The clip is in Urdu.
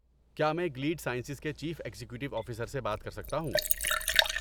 کیا میں گلیڈ سائنسز کے چیف ایگزیکٹو آفیسر سے بات کر سکتا ہوں؟